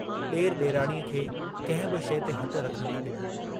ॾेर ॾेराणीअ खे कंहिं बि शइ ते हथु रखणु न ॾिनो।